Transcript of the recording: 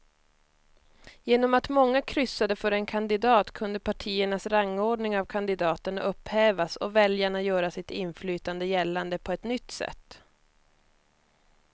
Genom att många kryssade för en kandidat kunde partiernas rangordning av kandidaterna upphävas och väljarna göra sitt inflytande gällande på ett nytt sätt.